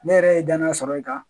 Ne yɛrɛ ye danaya sɔrɔ i kan